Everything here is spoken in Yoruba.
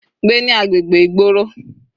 Gbé ní agbègbè ìgboro.